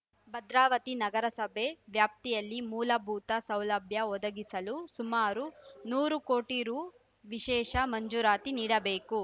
ಭದ್ರಾವತಿ ನಗರಸಭೆ ವ್ಯಾಪ್ತಿಯಲ್ಲಿ ಮೂಲಭೂತ ಸೌಲಭ್ಯ ಒದಗಿಸಲು ಸುಮಾರು ನೂರು ಕೋಟಿ ರು ವಿಶೇಷ ಮಂಜೂರಾತಿ ನೀಡಬೇಕು